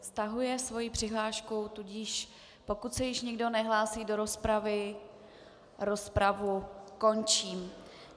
Stahuje svoji přihlášku, tudíž pokud se již nikdo nehlásí do rozpravy, rozpravu končím.